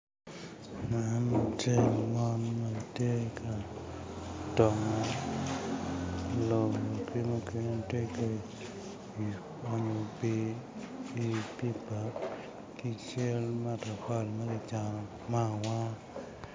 Man latin mon gitye ka tongo lobo ki mukene tye ka onyo pi i pipa ki cal matapali ma kicano me awanga.